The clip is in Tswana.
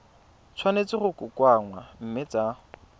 tshwanetse go kokoanngwa mme tsa